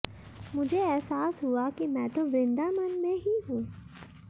मुझे एहसास हुआ कि मैं तो वृंदावन में ही हूं